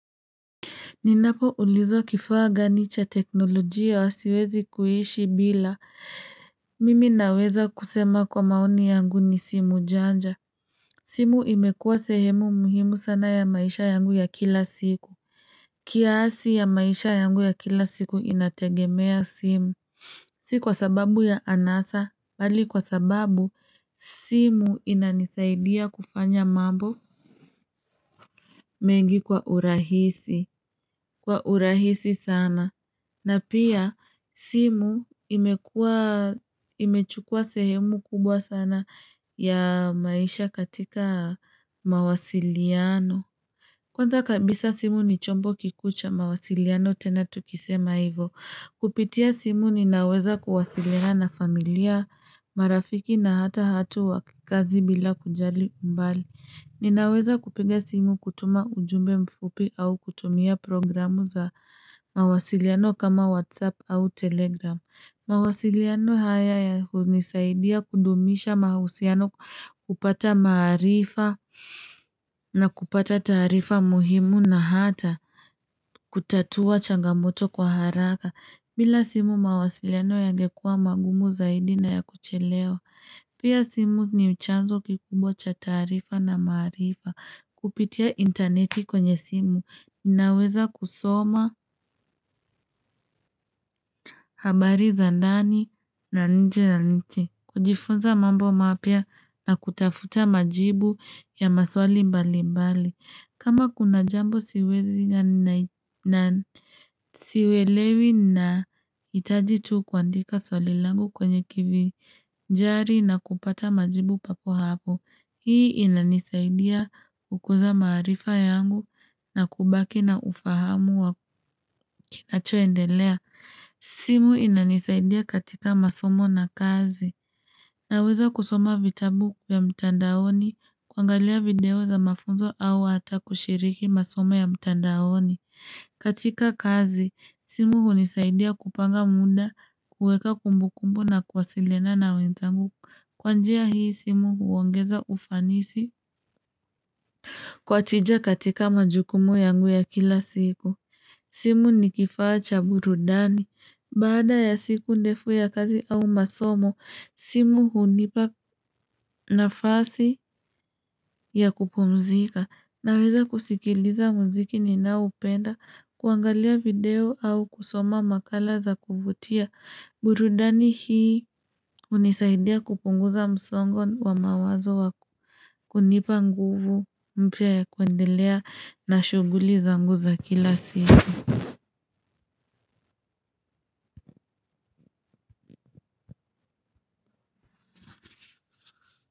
Ninapo ulizwa kifaa gani cha teknolojia siwezi kuishi bila Mimi naweza kusema kwa maoni yangu ni simu janja. Simu imekuwa sehemu muhimu sana ya maisha yangu ya kila siku. Kiasi ya maisha yangu ya kila siku inategemea simu. Si kwa sababu ya anasa, bali kwa sababu simu inanisaidia kufanya mambo mengi kwa urahisi. Kwa urahisi sana. Na pia simu imechukua sehemu kubwa sana ya maisha katika mawasiliano. Kwanza kabisa simu ni chombo kikuu cha mawasiliano tena tukisema hivo. Kupitia simu ninaweza kuwasiliana na familia, marafiki na hata hatu wa kazi bila kujali umbali. Ninaweza kupiga simu kutuma ujumbe mfupi au kutumia programu za mawasiliano kama WhatsApp au Telegram. Mawasiliano haya ya unisaidia kudumisha mahusiano, kupata maarifa na kupata tarifa muhimu na hata kutatua changamoto kwa haraka. Bila simu mawasiliano yangekua magumu zaidi na ya kuchelewa. Pia simu ni chanzo kikubwa cha taarifa na maarifa. Kupitia inteneti kwenye simu, naweza kusoma habari za ndani na nje ya nchi, kujifunza mambo mapya na kutafuta majibu ya maswali mbali mbali. Kama kuna jambo siwezi na siwelewi na itaji tu kuandika swali langu kwenye kivi jari na kupata majibu papo hapo Hii inanisaidia kukuza maarifa yangu na kubaki na ufahamu wa kikachoendelea. Simu inanisaidia katika masomo na kazi. Naweza kusoma vitabu vya mtandaoni, kuangalia video za mafunzo au hata kushiriki masomo ya mtandaoni. Katika kazi, simu unisaidia kupanga muda, kueka kumbukumbu na kuwasiliana na wenzangu Kwa njia hii simu uongeza ufanisi kwa tija katika majukumu yangu ya kila siku. Simu ni kifaa cha burudani. Baada ya siku ndefu ya kazi au masomo, simu unipa nafasi ya kupumzika. Naweza kusikiliza muziki ninaoupenda, kuangalia video au kusoma makala za kuvutia. Burudani hii unisaidia kupunguza msongo wa mawazo wako. Kunipa nguvu mpya ya kuendelea na shuguli zangu za kila siku.